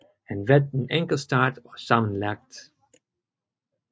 Han vandt en enkeltstart og sammenlagt